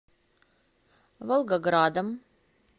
волгоградом